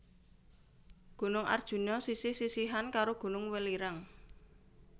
Gunung Arjuna sisih sisihan karo Gunung Welirang